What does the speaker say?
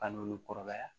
An n'olu kɔrɔbaya